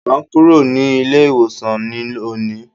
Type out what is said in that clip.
À n kúrò ní ilé ìwòsàn ní òní